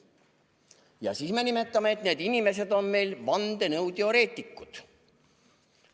Ja siis me ütleme, et need inimesed on meil vandenõuteoreetikud.